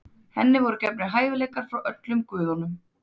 Henni voru gefnir hæfileikar frá öllum guðunum.